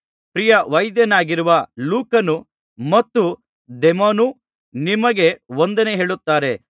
ಪ್ರಿಯ ವೈದ್ಯನಾಗಿರುವ ಲೂಕನು ಮತ್ತು ದೇಮನು ನಿಮಗೆ ವಂದನೆ ಹೇಳುತ್ತಾರೆ